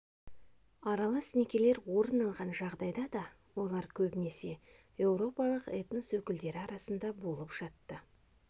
аралас некелер орын алған жағдайда да олар көбінесе еуропалық этнос өкілдері арасында болып жатты